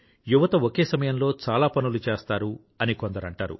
యువత ఒకే సమయంలో చాలా పనులు చేస్తారు అని కొందరు అంటారు